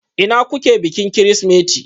Ina kuke bikin Kirsimeti?